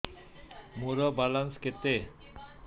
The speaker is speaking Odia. ମୋର ବାଲାନ୍ସ କେତେ